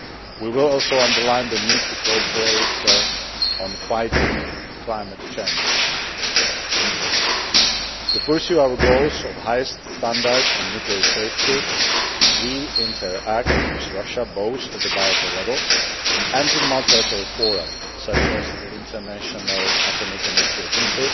We will also underline the need to cooperate on fighting climate change. To pursue our goals of highest standards on nuclear safety, we interact with Russia both at the bilateral level and in multilateral fora such as the International Atomic Energy Agency